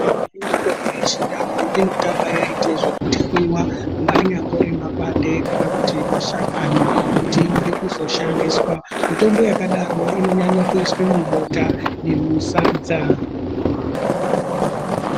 Kune mitombo yechindau unotanga yaitwe zvekutwiva anyambori makwande kana kuti mashakani. Kutiione kuzoshandiswa mitombo yakadaro inonyanyo kuiswe mubota nemusadza.